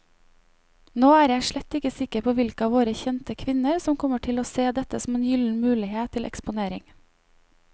Nå er jeg slett ikke sikker på hvilke av våre kjente kvinner som kommer til å se dette som en gyllen mulighet til eksponering.